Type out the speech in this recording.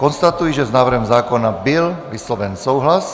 Konstatuji, že s návrhem zákona byl vysloven souhlas.